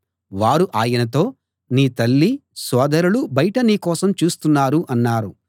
వారు ఆయనతో నీ తల్లి సోదరులు బయట నీ కోసం చూస్తున్నారు అన్నారు